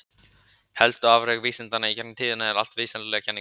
Helstu afrek vísindanna í gegnum tíðina eru allt vísindalegar kenningar.